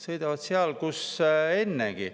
Sõidavad seal, kus ennegi.